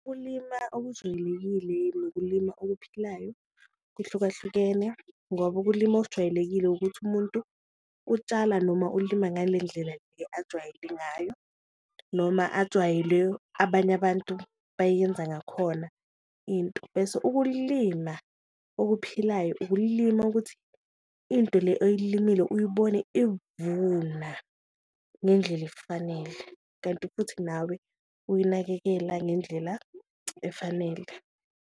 Ukulima okujwayelekile nokulima okuphilayo kuhlukahlukene ngoba ukulima okujwayelekile ukuthi umuntu utshala noma ulima ngale ndlela le ajwayele ngayo noma ajwayele abanye abantu bayenza ngakhona into. Bese ukulima okuphilayo ukulima okuthi into le oyilimile uyibone evuna ngendlela efanele, kanti futhi nawe uyinakekela ngendlela efanele.